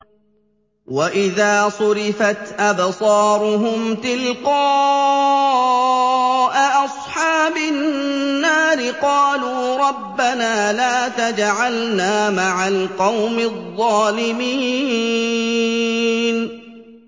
۞ وَإِذَا صُرِفَتْ أَبْصَارُهُمْ تِلْقَاءَ أَصْحَابِ النَّارِ قَالُوا رَبَّنَا لَا تَجْعَلْنَا مَعَ الْقَوْمِ الظَّالِمِينَ